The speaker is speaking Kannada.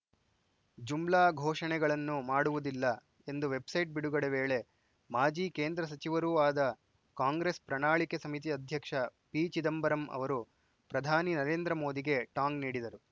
ಜುಮ್ಲಾ ಘೋಷಣೆಗಳನ್ನು ಮಾಡುವುದಿಲ್ಲ ಎಂದು ವೆಬ್‌ಸೈಟ್‌ ಬಿಡುಗಡೆ ವೇಳೆ ಮಾಜಿ ಕೇಂದ್ರ ಸಚಿವರೂ ಆದ ಕಾಂಗ್ರೆಸ್‌ ಪ್ರಣಾಳಿಕೆ ಸಮಿತಿ ಅಧ್ಯಕ್ಷ ಪಿ ಚಿದಂಬರಂ ಅವರು ಪ್ರಧಾನಿ ನರೇಂದ್ರ ಮೋದಿಗೆ ಟಾಂಗ್‌ ನೀಡಿದರು